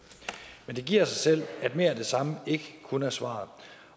men det giver sig selv at mere af det samme ikke kun er svaret